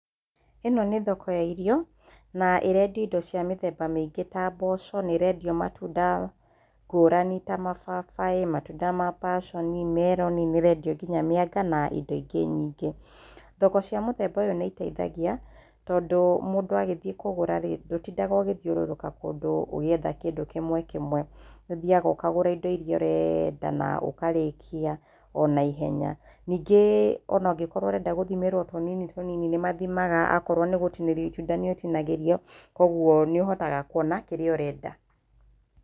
Ĩno nĩ thoko ya irio na ĩrendio indo cia mĩthemba mĩingĩ ta mboco na ĩrendio matunda ngũrani ta mababaĩ, matunda ma paconi, meroni, nĩrendio nginya mĩanga na indo ingĩ nyingĩ. Thoko cia mũthemba ũyũ nĩiteithagia tondũ mũndũ agĩthiĩ kũgũra rĩ ,ndũtindaga ũgĩthiũrũrũka ũgĩetha kĩndũ kĩmwe kĩmwe ũthiaga ũkagũra indo iria ũrenda na ũkarĩkia ona ihenya ningĩ onakĩkorwo ũrenda gũthimĩrwa tũnini tũnini nĩmathimaga akorwo nĩgũtinĩrwo itunda nĩũtinagĩrio kwoguo nĩũhotaga kwona kĩrĩa ũrenda.